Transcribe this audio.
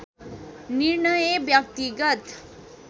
निर्णय व्यक्तिगत